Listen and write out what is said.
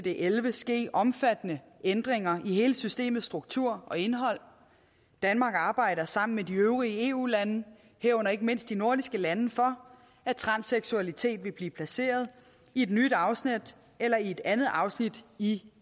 elleve ske omfattende ændringer i hele systemets struktur og indhold danmark arbejder sammen med de øvrige eu lande herunder ikke mindst de nordiske lande for at transseksualitet vil blive placeret i et nyt afsnit eller i et andet afsnit i